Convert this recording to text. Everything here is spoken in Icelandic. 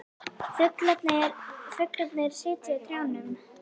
Fuglarnir sitja í trjánum.